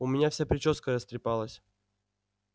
у меня вся причёска растрепалась